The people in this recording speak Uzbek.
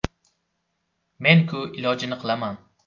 Men-ku ilojini qilaman.